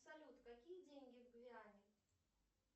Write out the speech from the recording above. салют какие деньги в гвиане